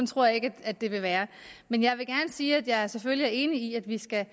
tror jeg ikke at det vil være men jeg vil gerne sige at jeg selvfølgelig er enig i at vi skal